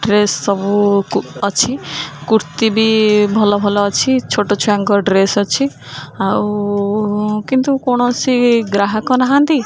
dress ସବୁ କୁ ଅଛି କୁର୍ତି ବି ଭଲ ଭଲ ଅଛି ଛୋଟ ଛୁଆଙ୍କର ଡ୍ରେସ ଅଛି ଆଉ କିନ୍ତୁ କୌଣସି ଗ୍ରାହକ ନାହାଁନ୍ତି --